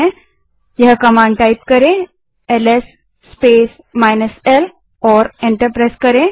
LS -l command type करें और enter दबायें